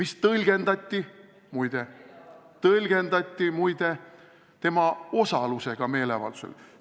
Seda tõlgendati muide tema osalusena meeleavaldusel.